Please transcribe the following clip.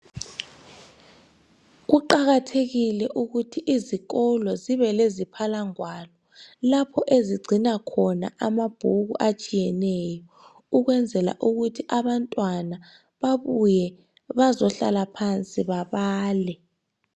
Kuqakathekile ukuthi izikolo zibe leziphalangwalo, lapho ezigcina khona amabhuku atshiyeneyo, ekwenzela ukuthi abantwana babuye, bazohlala phansi babale.